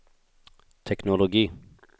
teknologi